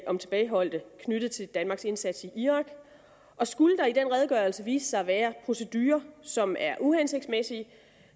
om tilbageholdte knyttet til danmarks indsats i irak og skulle der i den redegørelse vise sig at være procedurer som er uhensigtsmæssige